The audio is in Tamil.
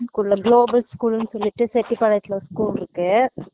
இது குள்ள global school னு சொல்லிட்டு செட்டி பாளையத்துல ஒரு school இருக்கு